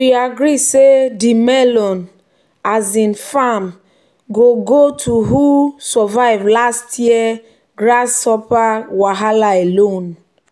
"we agree say di melon um farm go go to who um survive last year grasshopper wahala alone."